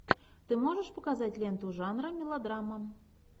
ты можешь показать ленту жанра мелодрама